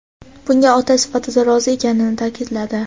bunga ota sifatida rozi ekanini ta’kidladi.